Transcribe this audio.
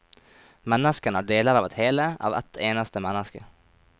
Menneskene er deler av et hele, av ett eneste menneske.